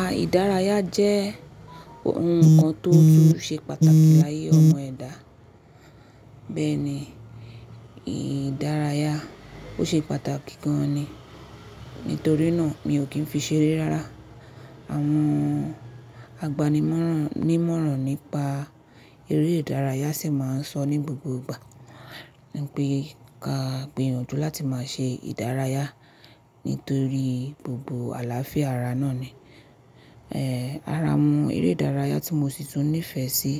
À ìdárayá jẹ́ ohun kan tó tun ṣe pàtàkì láyé ọmọ ẹ̀dá. Bẹ́ẹ̀ ni ìdárayá, ó ṣe pàtàkì gan ni. Nítorí náà mi ò kí ń fi ṣeré rárá. Àwọn agbani’mọ̀ràn ní ìmọ̀ràn nípa eré ìdárayá sì máa ń sọ ní gbogbo ìgbà wipé ka gbìyànjú láti máa ṣe ìdárayá nítorí gbogbo àlàáfíà ara náà ni. Ara awon eré ìdárayá tí mo sì tún nífẹ̀ẹ́ sí.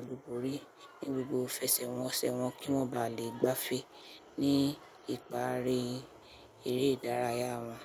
Olúborí ní gbogbo ifẹsẹ̀ wọnṣẹ̀ wọn kí wọ́n bá le gbá ife ní ìparí eré ìdárayá wọn.